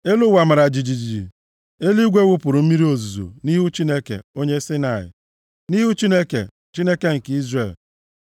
elu ụwa mara jijiji, eluigwe wụpụrụ mmiri ozuzo, nʼihu Chineke, Onye Saịnaị, nʼihu Chineke, Chineke nke Izrel.